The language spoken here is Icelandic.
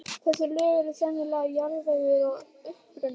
Þessi lög eru sennilega jarðvegur að uppruna.